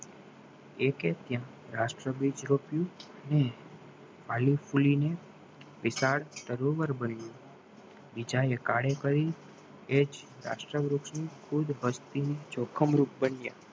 એ કે ત્યાં રાષ્ટ્ર બીજ રોપીયો અને વિચાડ તરોવર બન્યું બીજાએ કાળે કરી એ જ રાષ્ટ્ર વૃક્ષ ને પૂર્વ પશ્ચિમ ચોખમરૂગ બન્યાં